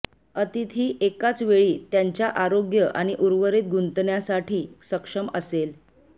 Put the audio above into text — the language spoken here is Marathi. अतिथी एकाच वेळी त्यांच्या आरोग्य आणि उर्वरित गुंतण्यासाठी सक्षम असेल